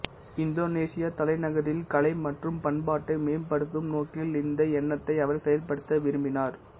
இந்தோனேசிய தலைநகரில் கலை மற்றும் பண்பாட்டை மேம்படுத்தும் நோக்கில் இந்த எண்ணத்தை அவர் செயல்படுத்த விரும்பினார்